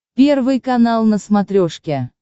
первый канал на смотрешке